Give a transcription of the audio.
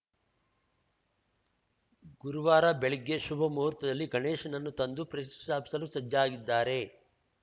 ಗುರುವಾರ ಬೆಳಗ್ಗೆ ಶುಭ ಮುಹೂರ್ತದಲ್ಲಿ ಗಣೇಶನನ್ನು ತಂದು ಪ್ರತಿಷ್ಟಾಪಿಸಲು ಸಜ್ಜಾಗಿದ್ದಾರೆ